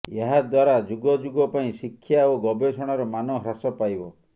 ଏହା ଦ୍ୱାରା ଯୁଗଯୁଗ ପାଇଁ ଶିକ୍ଷା ଓ ଗବେଷଣାର ମାନ ହ୍ରାସ ପାଇବ